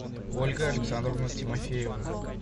ольга александровна тимофеева